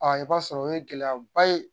i b'a sɔrɔ o ye gɛlɛyaba ye.